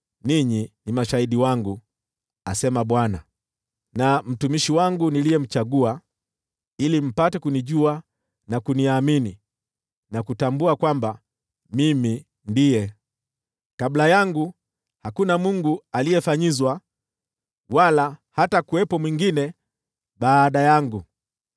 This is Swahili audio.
“Ninyi ni mashahidi wangu,” asema Bwana , “na mtumishi wangu niliyemchagua, ili mpate kunijua na kuniamini, na kutambua kwamba Mimi ndiye. Kabla yangu hakuna mungu aliyefanyizwa, wala hatakuwepo mwingine baada yangu.